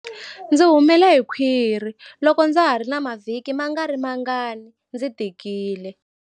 Ndzi humele hi khwiri loko ndza ha ri na mavhiki mangarimangani ndzi tikile